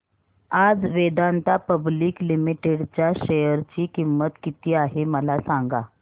आज Vedanta public limited च्या share ची किंमत किती आहे मला सांगा